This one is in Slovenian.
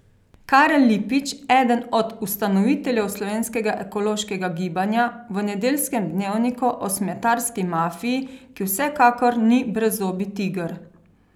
Karel Lipič, eden od ustanoviteljev Slovenskega ekološkega gibanja, v Nedeljskem dnevniku, o smetarski mafiji, ki vsekakor ni brezzobi tiger.